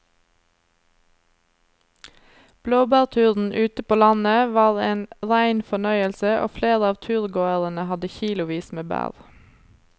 Blåbærturen ute på landet var en rein fornøyelse og flere av turgåerene hadde kilosvis med bær.